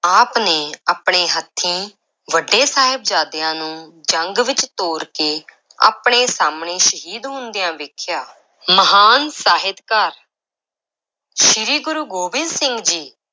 ਆਪ ਨੇ ਆਪਣੇ ਹੱਥੀਂ ਵੱਡੇ ਸਾਹਿਬਜ਼ਾਦਿਆਂ ਨੂੰ ਜੰਗ ਵਿਚ ਤੋਰ ਕੇ ਆਪਣੇ ਸਾਹਮਣੇ ਸ਼ਹੀਦ ਹੁੰਦਿਆਂ ਵੇਖਿਆ, ਮਹਾਨ ਸਾਹਿਤਕਾਰ ਸ੍ਰੀ ਗੁਰੂ ਗੋਬਿੰਦ ਸਿੰਘ ਜੀ